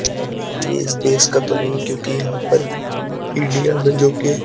ये इस देश का तो नहीं क्योंकि यहां पर इंडिया में जो कि --